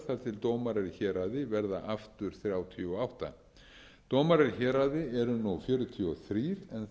til dómarar í héraði verða aftur þrjátíu og átta dómarar í héraði eru nú fjörutíu og þrjú en þeim